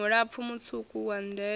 mulapfu mutswuku wa ndele a